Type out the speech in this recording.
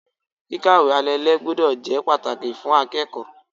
Kíkàwé alalé gbúdọ̀ jẹ́ pàtàkì fún akẹ́kọ̀ọ́.